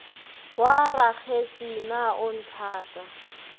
wa rakgetse na o nthata